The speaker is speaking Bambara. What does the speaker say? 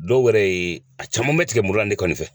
Dɔw wɛrɛ ye a caman bɛ tigɛ muru la ne kɔni fɛ.